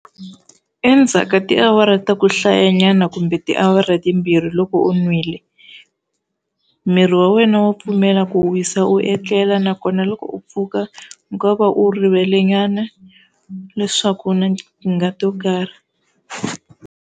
Endzhaka tiawara ta ku hlayanyana kumbe tiawara timbirhi loko u nwile, miri wa wena wa pfumela ku u wisa u etlela nakona loko u pfuka u nga va u rivelenyana leswaku u na tikingha to karhi.